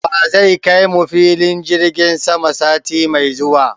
Wa zai kai mu filin jirgin sama sati mai zuwa?